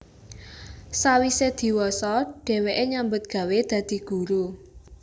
Sawise diwasa dheweke nyambut gawé dadi guru